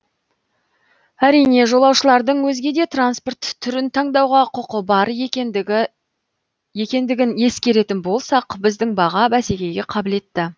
әрине жолаушылардың өзге де транспорт түрін таңдауға құқы бар екендігін ескеретін болсақ біздің баға бәсекеге қабілетті